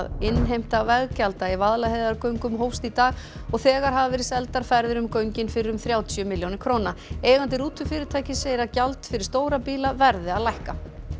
innheimta veggjalda í Vaðlaheiðargöngum hófst í dag og þegar hafa verið seldar ferðir í göngin fyrir um þrjátíu milljónir króna eigandi rútufyrirtækis segir gjald fyrir stóra bíla verði að lækka